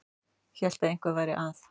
Hélt að eitthvað væri að.